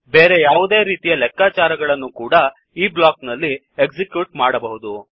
ಬೇರೆ ಯಾವುದೇ ರೀತಿಯ ಲೆಕ್ಕಾಚಾರ ಗಳನ್ನು ಕೂಡ ಈ ಬ್ಲಾಕ್ ನಲ್ಲಿ ಎಕ್ಸಿಕ್ಯೂಟ್ ಮಾಡಬಹುದು